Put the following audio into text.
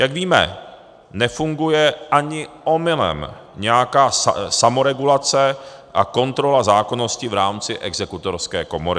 Jak víme, nefunguje ani omylem nějaká samoregulace a kontrola zákonnosti v rámci Exekutorské komory.